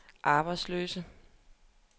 arbejdsløse